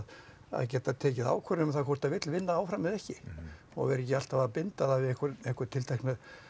geta tekið ákvörðun um það hvort það vill vinna áfram eða ekki og vera ekki alltaf að binda það við einhvern einhvern tiltekinn